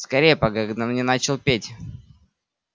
скорее пока гном не начал петь